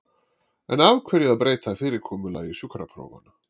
En af hverju að breyta fyrirkomulagi sjúkraprófanna?